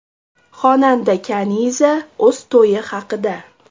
Xonanda Kaniza o‘z to‘yi haqida.